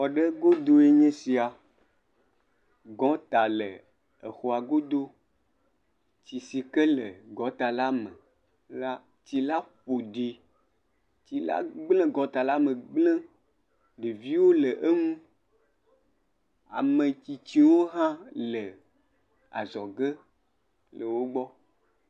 Xɔ ɖe godoe nye esia. Gɔŋta le exɔa godo. Tsi si ke le gɔŋtala me la, tsila ƒo ɖi. Tsila gblẽ gɔŋtala me gblẽ. Ɖeviwo le eŋu. Ame tsitsiwo hã le azɔge le wogbɔ.